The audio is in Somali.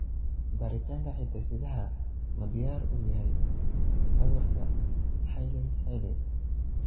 Baaritaanka hidde-sidaha ma diyaar u yahay cudurka Hailey Hailey?